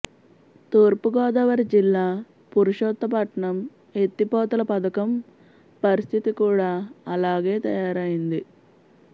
తూర్పుగోదావరి జిల్లా పురుషోత్తపట్నం ఎత్తిపోతల పథకం పరిస్థితి కూడా అలాగే తయారైంది